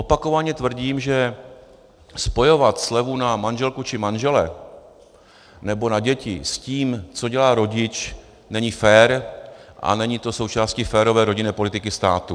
Opakovaně tvrdím, že spojovat slevu na manželku či manžele nebo na děti s tím, co dělá rodič, není fér a není to součástí férové rodinné politiky státu.